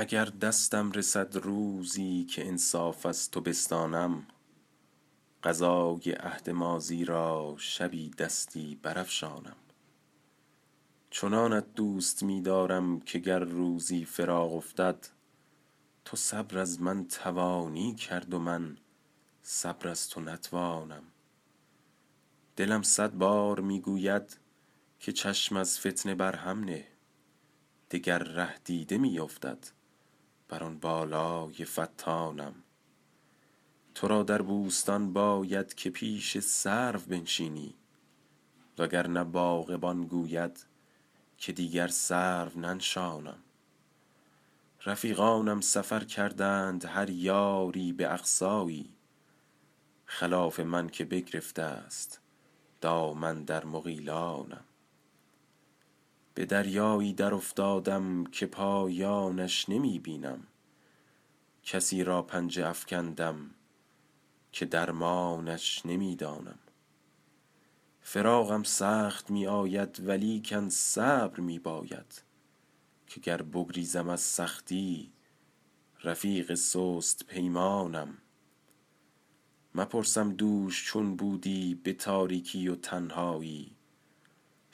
اگر دستم رسد روزی که انصاف از تو بستانم قضای عهد ماضی را شبی دستی برافشانم چنانت دوست می دارم که گر روزی فراق افتد تو صبر از من توانی کرد و من صبر از تو نتوانم دلم صد بار می گوید که چشم از فتنه بر هم نه دگر ره دیده می افتد بر آن بالای فتانم تو را در بوستان باید که پیش سرو بنشینی وگرنه باغبان گوید که دیگر سرو ننشانم رفیقانم سفر کردند هر یاری به اقصایی خلاف من که بگرفته است دامن در مغیلانم به دریایی درافتادم که پایانش نمی بینم کسی را پنجه افکندم که درمانش نمی دانم فراقم سخت می آید ولیکن صبر می باید که گر بگریزم از سختی رفیق سست پیمانم مپرسم دوش چون بودی به تاریکی و تنهایی